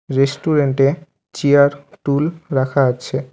রেস্টুরেন্টে চেয়ার টুল রাখা আছে।